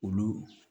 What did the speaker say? Olu